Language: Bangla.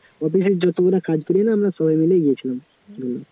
office এর যতগুলা কাজ করি না আমরা সবাই মিলেই গেছিলাম,